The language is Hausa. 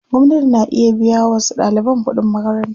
Gwamnati na iya biya wa wasu ɗaliban kuɗin makaranta.